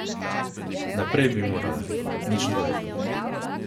Naprej bi morale, nič drugega.